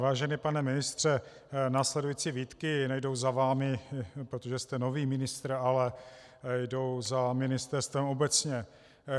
Vážený pane ministře, následující výtky nejdou za vámi, protože jste nový ministr, ale jdou za ministerstvem obecně.